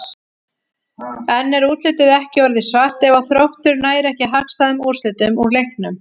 En er útlitið ekki orðið svart ef að Þróttur nær ekki hagstæðum úrslitum úr leiknum?